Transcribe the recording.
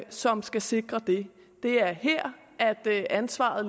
som skal sikre det det er her ansvaret